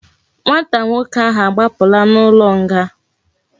Nwata nwoke ahu agbapula na ulo nga